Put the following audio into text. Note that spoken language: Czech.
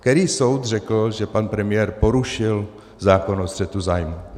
Který soud řekl, že pan premiér porušil zákon o střetu zájmů?